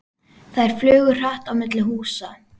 Þær flugu hratt á milli húsa.